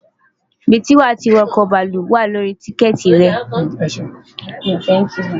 Ibi tí wà tí wo̩kò̩ bàálù wà ní orí tíkè̩tì re̩.